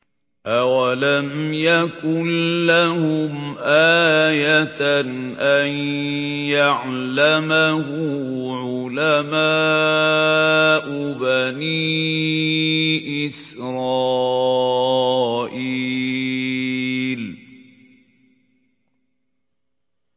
أَوَلَمْ يَكُن لَّهُمْ آيَةً أَن يَعْلَمَهُ عُلَمَاءُ بَنِي إِسْرَائِيلَ